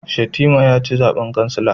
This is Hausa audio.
Shatima ya ci zaben kansila